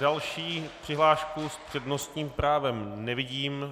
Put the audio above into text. Další přihlášku s přednostním právem nevidím.